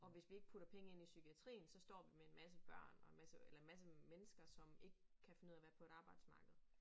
Og hvis vi ikke putter penge ind i psykiatrien så står vi med en masse børn og en masse eller en masse mennesker som ikke kan finde ud af at være på et arbejdsmarked